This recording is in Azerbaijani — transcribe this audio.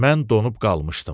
Mən donub qalmışdım.